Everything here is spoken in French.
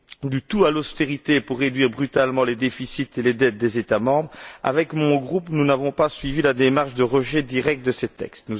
du tout à l'austérité pour réduire brutalement les déficits et les dettes des États membres, avec mon groupe nous n'avons pas suivi la démarche de rejet direct de ces textes.